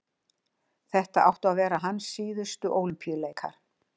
Þetta áttu að vera hans síðustu Ólympíuleikar.